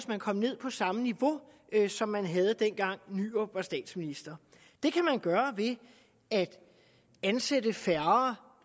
man kom ned på samme niveau som man havde dengang poul nyrup rasmussen var statsminister det kan man gøre ved at ansætte færre